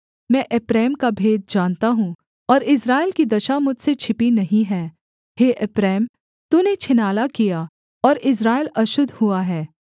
मैं एप्रैम का भेद जानता हूँ और इस्राएल की दशा मुझसे छिपी नहीं है हे एप्रैम तूने छिनाला किया और इस्राएल अशुद्ध हुआ है